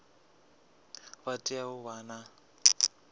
vha tea u vha na